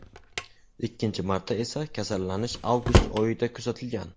Ikkinchi marta esa kasallanish avgust oyida kuzatilgan.